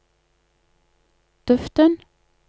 duften